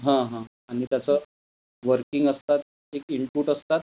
हम्म हम्म आणि त्याच वर्किंग असतात, एक इनपुट असतात.